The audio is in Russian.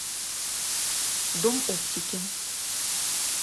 дом оптики